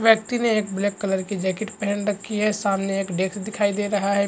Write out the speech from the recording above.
व्यक्ति ने एक ब्लैक कलर की जैकेट पहन रखी है सामने एक डैक्स दिखाई दे रहा है।